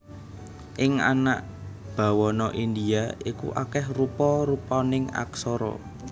Ing anak bawana Indhia iku akèh rupa rupaning aksara